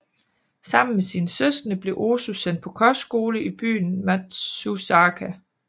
Sammen med sine søskende blev Ozu sendt på kostskole i byen Matsuzaka